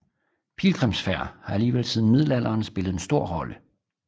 Pilgrimsfærd har alligevel siden middelalderen spillet en stor rolle